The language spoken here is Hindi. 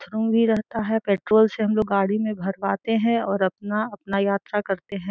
रहता है पेट्रोल से हम लोग गाड़ी में भरवाते है और अपना अपना यात्रा करते है।